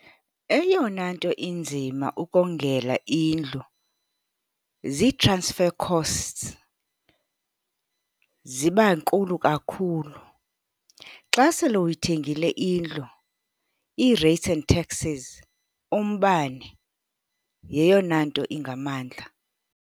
Eyona nto inzima ukongela indlu zii-transfer costs, ziba nkulu kakhulu. Xa sele uyithengile indlu, ii-rates and taxes, umbane yeyona nto ingamandla.